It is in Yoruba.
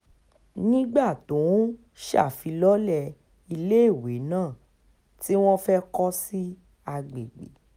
nígbà tó ń ṣèfilọ́lẹ̀ iléèwé náà tí wọ́n fẹ́ẹ́ kọ́ sí àgbègbè